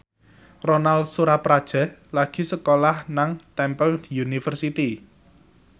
Ronal Surapradja lagi sekolah nang Temple University